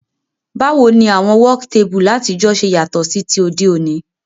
Báwoni àwon work table látijọ́ se yàtò sí ti òdé òní?